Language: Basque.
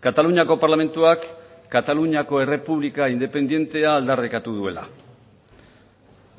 kataluniako parlamentuak kataluniako errepublika independentea aldarrikatu duela